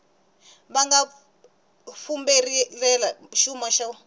va nga fumbarhela xuma xo